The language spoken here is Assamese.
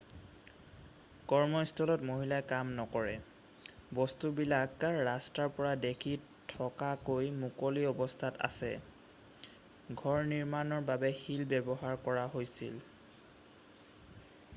কৰ্মস্থলত মহিলাই কাম নকৰে বস্তুবিলাক ৰাস্তাৰ পৰা দেখি থকাকৈ মুকলি অৱস্থাত আছে ঘৰ নিৰ্মাণৰ বাবে শিল ব্যৱহাৰ কৰা হৈছিল